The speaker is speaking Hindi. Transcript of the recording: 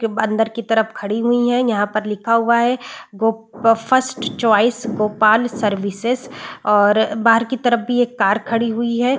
के अंदर की तरफ खड़ी हुई है यहाँ पर लिखा हुआ है go first choice Gopal services और बाहर की तरफ भी एक कार खड़ी हुई है।